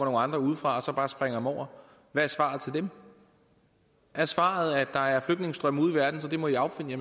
andre udefra som bare springer dem over hvad er svaret til dem er svaret at der er flygtningestrømme ude i verden så det må i affinde